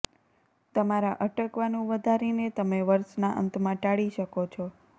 તમારા અટકવાનું વધારીને તમે વર્ષના અંતમાં ટાળી શકો છો